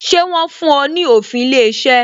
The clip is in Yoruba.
Ṣé wọn fún ọ ní òfin ilé iṣẹ́?